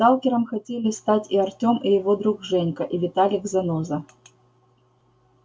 сталкером хотели стать и артём и его друг женька и виталик-заноза